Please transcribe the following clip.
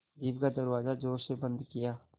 jeep का दरवाज़ा ज़ोर से बंद किया